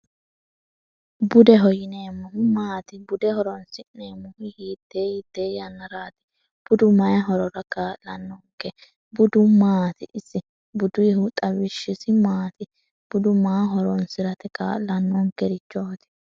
bude hoyineemmohu maati bude horonsi'neemmohu hiittee hittee yannaraati budu maye horora kaa'lannoonke budu maati isi buduihu xawishshisi maati budu maa horonsi'rati kaa'lannoonkerichohoti